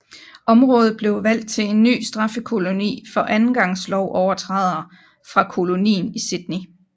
Området blev valgt til en ny straffekoloni for andengangs lovovertrædere fra kolonien i Sydney